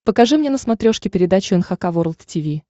покажи мне на смотрешке передачу эн эйч кей волд ти ви